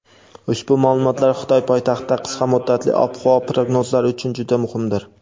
ushbu ma’lumotlar Xitoy poytaxtida qisqa muddatli ob-havo prognozlari uchun juda muhimdir.